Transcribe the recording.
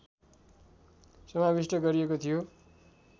समाविष्ट गरिएको थियो